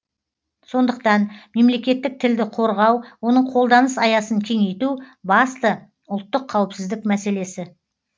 сондықтан мемлекеттік тілді қорғау оның қолданыс аясын кеңейту басты ұлттық қауіпсіздік мәселесі